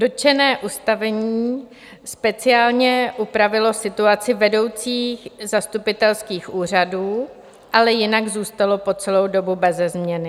Dotčené ustanovení speciálně upravilo situaci vedoucích zastupitelských úřadů, ale jinak zůstalo po celou dobu beze změny.